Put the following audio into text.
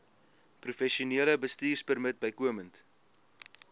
professionele bestuurpermit bykomend